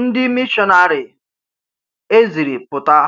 Ndị mịshọ́nari e zịrì pụta